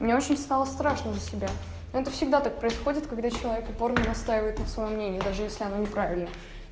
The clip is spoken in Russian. мне очень стало страшно за себя это всегда так происходит когда человек упорно настаивает на своём мнении даже если оно неправильное